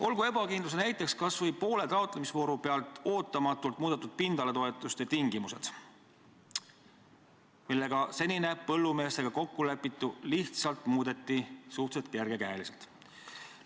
Olgu ebakindluse näiteks kas või poole taotlemisvooru pealt ootamatult muudetud pindalatoetuste tingimused, mille kehtestamisega muudeti suhteliselt kerge käega seni põllumeestega kokku lepitut.